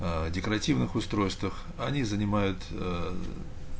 аа декоративных устройствах они занимают